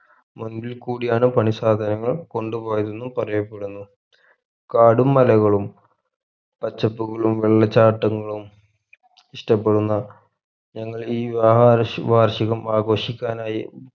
മുമ്പിൽ കൂടെയാണ് പണി സാധനങ്ങൾ കൊണ്ടുപോയതെന്നും പറയപ്പെടുന്നു കാടും മലകളും പച്ചപ്പുകളും വെള്ളച്ചാട്ടങ്ങളും ഇഷ്ടപെടുന്ന ഞങ്ങൾ ഈ വിവാഹ വാർഷി വാർഷികം ആഘോഷിക്കാനായി